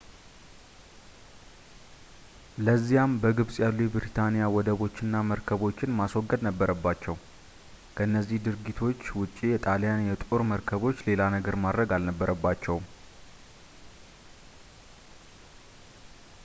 ለዚያም በግብጽ ያሉ የብሪታኒያን ወደቦች እና መርከቦችን ማስወገድ ነበረባቸው ከነዚህ ድርጊቶች ውጪ የጣልያን የጦር መርከቦች ሌላ ነገር ማድረግ አልነበረባቸውም